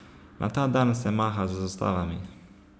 Na ta dan se maha z zastavami.